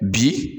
Bi